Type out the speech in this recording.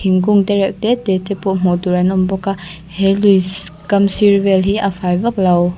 thingkung tereuh te te te pawh hmuh tur an awm bawk a he luiss kam sir vel hi a fai vak lo.